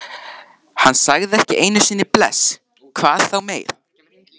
Hann sagði ekki einu sinni bless, hvað þá meir.